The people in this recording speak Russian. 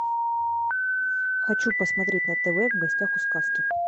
хочу посмотреть на тв в гостях у сказки